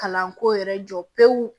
Kalanko yɛrɛ jɔ pewu